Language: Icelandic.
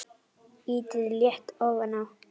Ýtið létt ofan á.